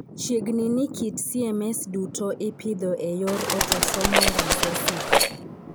Chiegni ni kit CMS duto ipidho e yor otosomal recessive.